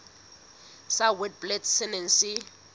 sa witblits se neng se